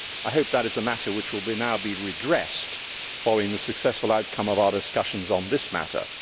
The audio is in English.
I hope that is a matter which will now be redressed, following the successful outcome of our discussions on this matter.